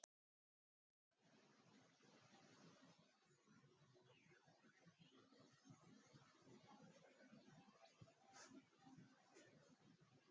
Þórhildur Þorkelsdóttir: En þér?